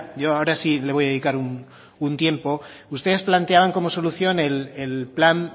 yo ahora sí le voy a dedicar un tiempo ustedes planteaban como solución el plan